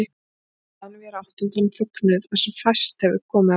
Og þaðan vér áttum þann fögnuð að fá sem fæst hefur komið af góðu.